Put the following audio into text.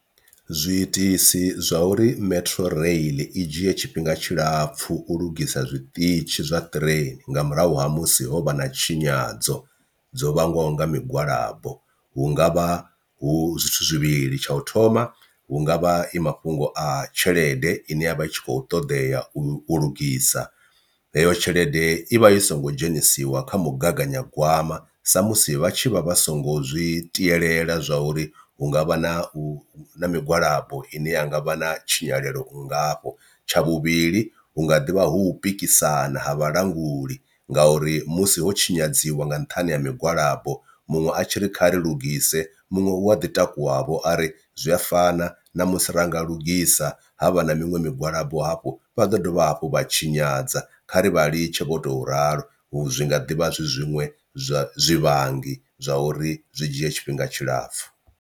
Zwiitisi zwa uri metro rail i dzhie tshifhinga tshilapfhu u lugisa zwiṱitshi zwa train nga murahu ha musi ho vha na tshinyadzo dzo vhangwaho nga migwalabo hungavha hu zwithu zwivhili tsha u thoma hungavha i mafhungo a tshelede ine yavha i tshi khou ṱoḓea u lugisa, heyo tshelede i vha i songo dzhenisiwa kha mugaganyagwama sa musi vha tshi vha vha songo zwi tielela zwa uri u hungavha na u migwalabo ine ya ngavha na tshinyalelo u nngafho. Tsha vhuvhili hu nga ḓivha hu pikisana ha vhalanguli ngauri musi ho tshinyadziwa nga nṱhani ha migwalabo muṅwe a tshi ri khari lugise, muṅwe u a ḓi takuwa vho ari zwi a fana na musi ra nga lugisa havha na miṅwe migwalabo hafho vha ḓo dovha hafhu vha tshinyadza kha ri vha litshe vho tou ralo zwi nga ḓivha zwi zwinwe zwa zwivhangi zwa uri zwi dzhie tshifhinga tshilapfhu.